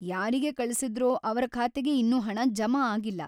ಯಾರಿಗೆ ಕಳಿಸಿದ್ರೋ ಅವ್ರ ಖಾತೆಗೆ ಇನ್ನೂ ಹಣ ಜಮಾ ಆಗಿಲ್ಲ.